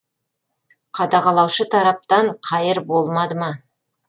қадағалаушы тараптан қайыр болмады ма